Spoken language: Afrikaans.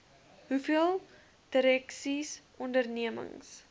hoeveel direksies ondernemings